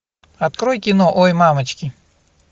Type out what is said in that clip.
открой кино ой мамочки